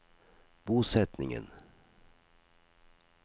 bosetningen